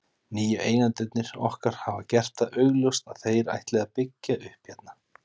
Nýju eigendurnir okkar hafa gert það augljóst að þeir ætli að byggja upp hérna.